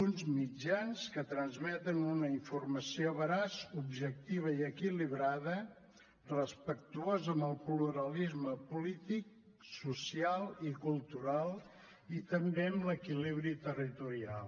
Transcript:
uns mitjans que transmeten una informació veraç objectiva i equilibrada respectuosa amb el pluralisme polític social i cultural i també amb l’equilibri territorial